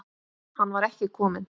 Hann var ekki kominn.